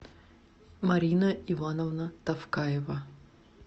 марина ивановна тавкаева